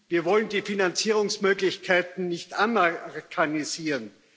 Wir wollen die Finanzierungsmöglichkeiten nicht amerikanisieren.